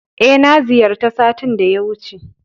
E, na ziyarta satin da ya wuce.